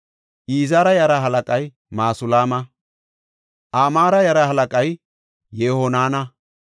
Izira yaraa halaqay Masulaama. Amaare yara halaqay Yehohanana.